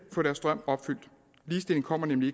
få deres drøm opfyldt ligestilling kommer nemlig